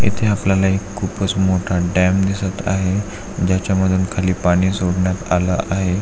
इथे आपल्याला एक खूपच मोठा डॅम दिसत आहे ज्याच्या मधून खाली पाणी सोडण्यात आल आहे.